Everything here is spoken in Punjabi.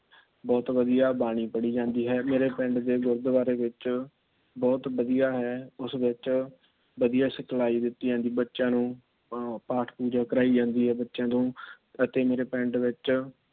ਬਹੁਤ ਵਧੀਆ ਬਾਣੀ ਪੜਿ ਜਾਂਦੀ ਹੈ। ਮੇਰੇ ਪਿੰਡ ਦੇ ਗੁਰਦਵਾਰੇ ਵਿੱਚ ਬਹੁਤ ਵਧੀਆ ਹੈ। ਉਸ ਵਿੱਚ ਵਧੀਆ ਸਿਖਲਾਈ ਦਿੱਤੀ ਜਾਂਦੀ ਬੱਚਿਆਂ ਨੂੰ ਆ ਪਾਠ ਪੂਜਾ ਕਰਾਈ ਜਾਂਦੀ ਏ ਬੱਚਿਆਂ ਨੂੰ। ਅਤੇ ਮੇਰੇ ਪਿੰਡ ਵਿੱਚ